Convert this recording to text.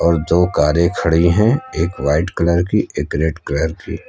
दो कारें खड़ी हैं एक वाइट कलर की एक रेड कलर की।